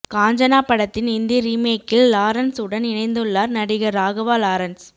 காஞ்சனா படத்தின் இந்தி ரீமேக்கில் லாரன்ஸுடன் இணைந்துள்ளார் நடிகர் ராகவா லாரன்ஸ்